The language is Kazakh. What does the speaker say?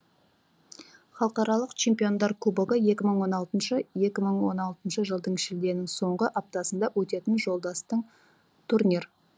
халықаралық чемпиондар кубогы екі мың он алтыншы екі мың он алтыншы жылдың шілденің соңғы аптасында өтетін жолдастың турнир